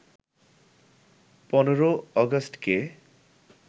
১৫ অগাস্টকে